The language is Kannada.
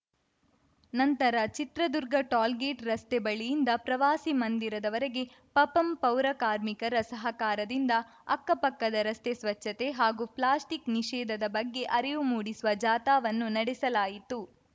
ನಂತರ ಚಿತ್ರದುರ್ಗ ಟೋಲ್‌ಗೇಟ್‌ ರಸ್ತೆ ಬಳಿಯಿಂದ ಪ್ರವಾಸಿ ಮಂದಿರದವರೆಗೆ ಪಪಂ ಪೌರ ಕಾರ್ಮಿಕರ ಸಹಕಾರದಿಂದ ಅಕ್ಕಪಕ್ಕದ ರಸ್ತೆ ಸ್ವಚ್ಛತೆ ಹಾಗೂ ಪ್ಲಾಸ್ಟಿಕ್‌ ನಿಷೇಧದ ಬಗ್ಗೆ ಅರಿವು ಮೂಡಿಸುವ ಜಾಥಾವನ್ನು ನಡೆಸಲಾಯಿತು